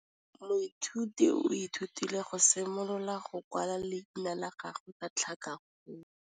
Moithuti o ithutile go simolola go kwala leina la gagwe ka tlhakakgolo.